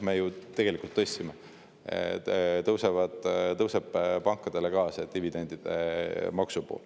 Me ju tegelikult tõstsime, ka pankadel tõuseb see dividendimaksu pool.